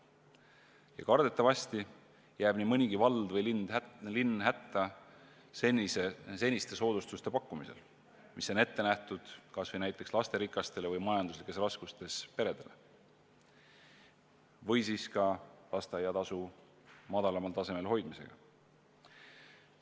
Ja kardetavasti jääb nii mõnigi vald või linn hätta seniste soodustuste pakkumisega, mis on ette nähtud lasterikastele või majandusraskustes peredele, ja ka lasteaiatasu madalamal tasemel hoidmisega.